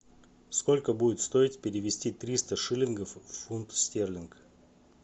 сколько будет стоить перевести триста шиллингов в фунт стерлинг